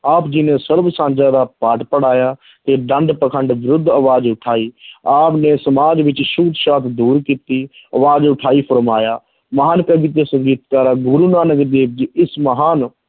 ਆਪ ਜੀ ਨੇ ਸਰਬ ਸਾਂਝਾ ਦਾ ਪਾਠ ਪੜ੍ਹਾਇਆ ਤੇ ਪਾਖੰਡ ਵਿਰੁੱਧ ਆਵਾਜ਼ ਉਠਾਈ ਆਪ ਨੇ ਸਮਾਜ ਵਿੱਚ ਛੂਤ ਛਾਤ ਦੂਰ ਕੀਤੀ ਆਵਾਜ਼ ਉਠਾਈ ਫੁਰਮਾਇਆ ਮਹਾਨ ਕਵੀ ਤੇ ਸੰਗੀਤਕਾਰ, ਗੁਰੂ ਨਾਨਕ ਦੇਵ ਜੀ ਇਸ ਮਹਾਨ